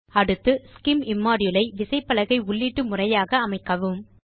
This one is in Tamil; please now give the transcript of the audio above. அடுத்து scim இம்மோடியூல் ஐ விசைப்பலகை உள்ளீட்டு முறையாக அமைக்கவும்